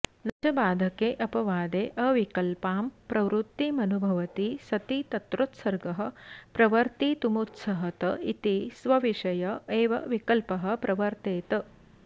न च बाधकेऽपवादेऽविकल्पां प्रवृत्तिमनुभवति सति तत्रोत्सर्गः प्रवर्तितुमुत्सहत इति स्वविषय एव विकल्पः प्रवर्तेत